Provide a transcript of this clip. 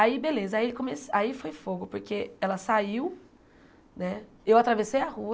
Aí beleza, aí ele come aí foi fogo, porque ela saiu né, eu atravessei a rua,